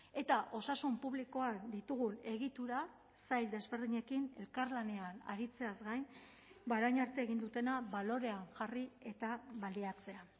eta osasun publikoan ditugun egitura sail desberdinekin elkarlanean aritzeaz gain orain arte egin dutena balorean jarri eta baliatzea